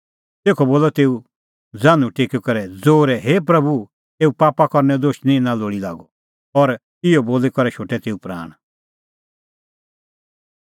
तेखअ बोलअ तेऊ ज़ान्हूं टेकी करै ज़ोरै हे प्रभू एऊ पाप करनैओ दोश निं इना लोल़ी लागअ और इहअ बोली करै शोटै तेऊ प्राण